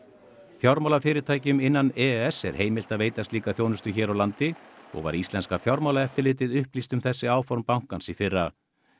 fjármálafyrirtækjum innan e e s er heimilt að veita slíka þjónustu hér á landi og var íslenska fjármálaeftirlitið upplýst um þessi áform bankans í fyrra